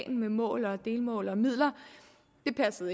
med mål delmål og midler